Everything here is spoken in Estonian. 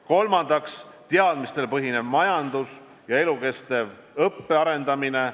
Kolmandaks, teadmistel põhinev majandus ja elukestva õppe arendamine.